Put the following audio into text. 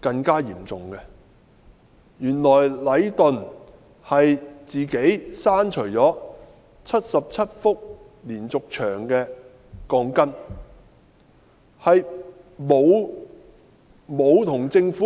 的更嚴重，原來禮頓建築有限公司擅自刪去了77幅連續牆的鋼筋，並無通知政府。